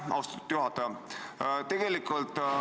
Austatud juhataja!